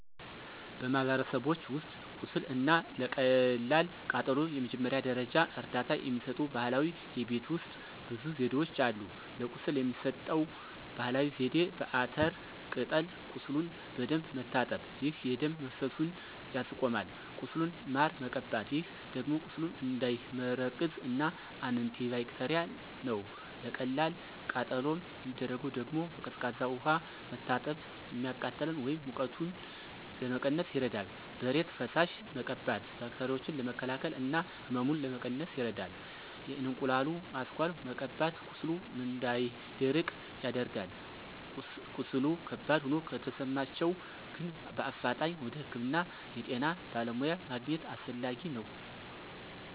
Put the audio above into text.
በማህበረሰቦች ውስጥ ቁስል እና ለቀላል ቃጠሎ የመጀመሪያ ደረጃ እርዳታ የሚሰጡ ባህላዊ የቤት ውሰጥ ብዙ ዘዴዎች አሉ። ለቁስል የሚሰጠው ባህላዊ ዜዴ፦ በአተር ቅጠል ቁሱሉን በደንብ መታጠብ፣ ይህ የደም መፈሰሱን ያስቆማል። ቁስሉን ማር መቀባት ይህ ደግሞ ቁስሉ እንዳይመረቅዝ እና አንቲባክቴርል ነው። ለቀላል ቃጠሎ የሚደረገው ደግሞ፦ በቀዝቃዛ ውሃ መታጠብ፤ የሚቃጥለን ወይም ሙቀቱን ለመቀነስ ይረዳል። በእሬት ፈሳሽ መቀባት ባክቴራዎችን ለመከላከል እና ህመሙን ለመቀነስ ይረዳል። የእንቁላሉ አስኳል መቀባት ቁስሉ እንዳይደርቅ ያደርጋል። ቀስሉ ከባድ ሆኖ ከተሰማቸሁ ግን በአፋጣኝ ወደ ህክምና የጤና በለሙያ ማግኝት አሰፈላጊ ነው።